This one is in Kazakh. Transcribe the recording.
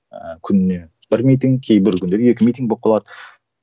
ыыы күніне бір митинг кейбір күндері екі митинг болып қалады